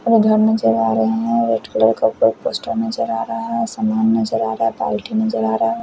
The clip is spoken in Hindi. और घर नजर आ रहे हैं व्हाइट कलर का नजर आ रहा हैं सामान नजर आ रहा है पार्टी नजर आ रहा हैं।